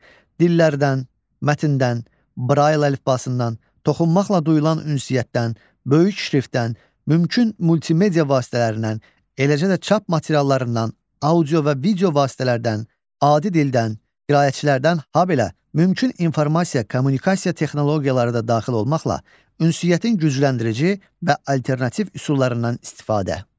Dillərdən, mətndən, Brail əlifbasından, toxunmaqla duyulan ünsiyyətdən, böyük şriftdən, mümkün multimedia vasitələrindən, eləcə də çap materiallarından, audio və video vasitələrdən, adi dildən, qiraətçilərdən, habelə mümkün informasiya kommunikasiya texnologiyaları da daxil olmaqla ünsiyyətin gücləndirici və alternativ üsullarından istifadə.